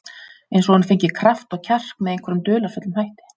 Eins og hún fengi kraft og kjark með einhverjum dularfullum hætti.